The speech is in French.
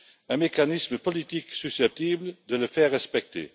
un mécanisme politique susceptible de le faire respecter?